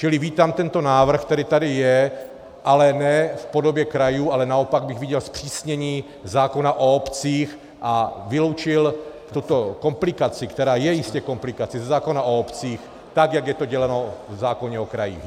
Čili vítám tento návrh, který tady je, ale ne v podobě krajů, ale naopak bych viděl zpřísnění zákona o obcích a vyloučil tuto komplikaci, která je jistě komplikací, ze zákona o obcích, tak, jak je to děláno v zákoně o krajích.